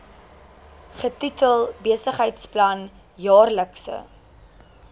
getitel besigheidsplan jaarlikse